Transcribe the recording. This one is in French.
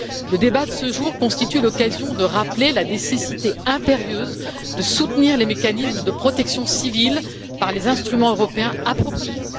Le débat de ce jour constitue l'occasion de rappeler la nécessité impérieuse de soutenir les mécanismes de protection civile par les instruments européens appropriés.